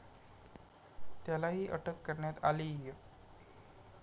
त्यालाही अटक करण्यात आलीय.